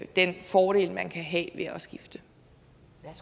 den fordel man kan have ved at skifte